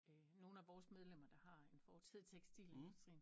Nogen af vores medlemmer der har en fortid i tekstilindustrien